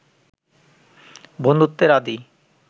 বন্ধুত্বের আদি